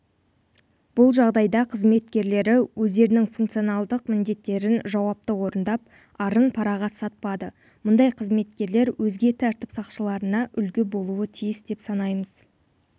бұл жағдайда қызметкерлері өздерінің функционалдық міндеттерін жауапты орындап арын параға сатпады мұндай қызметкерлер өзге тәртіп сақшыларына үлгі болуы тиіс деп санаймыз